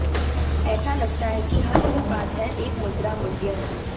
ऐसा लगता है कि हर उत्पाद है एक मुद्रा मूल्य